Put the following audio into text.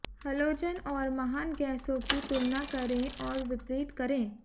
halogen और महान गैसों की तुलना करें और विपरीत करें